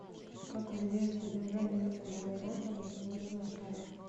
как влияет содержание углерода на свойства стали